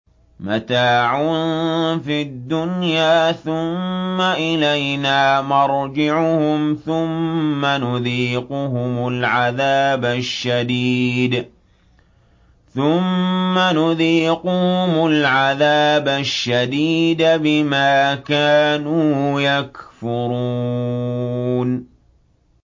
مَتَاعٌ فِي الدُّنْيَا ثُمَّ إِلَيْنَا مَرْجِعُهُمْ ثُمَّ نُذِيقُهُمُ الْعَذَابَ الشَّدِيدَ بِمَا كَانُوا يَكْفُرُونَ